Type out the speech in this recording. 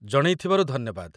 ଜଣେଇଥିବାରୁ ଧନ୍ୟବାଦ ।